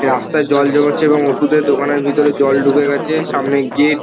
রাস্তায় জল জমেছে এবং ওষুধের দোকানের ভিতরে জল ঢুকে গেছে সামনে গেট --